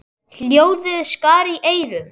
Hljóðið skar í eyrun.